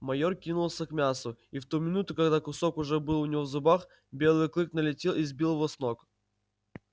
майор кинулся к мясу и в ту минуту когда кусок уже был у него в зубах белый клык налетел и сбил его с ног